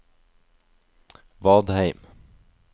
Vadheim